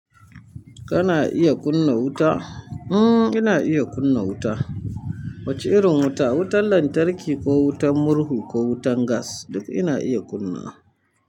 Kana iya kunna wuta? Hmm ina iya kunna wuta. Wace irin wuta? Wutan lantarki ko wutan murhu ko wutan gas.